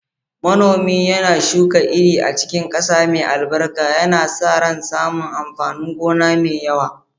Manomi yana shuka iri a cikin ƙasa mai albarka, yana sa ran samun amfanin gona mai yawa.